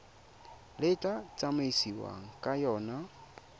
le tla tsamaisiwang ka yona